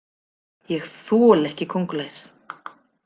Ég þoli ekki kóngulær.